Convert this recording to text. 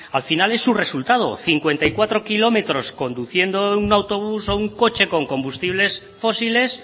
al final es su resultado cincuenta y cuatro kilómetros conduciendo un autobús o un coche con combustibles fósiles